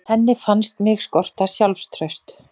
Henni fannst mig skorta sjálfstraust.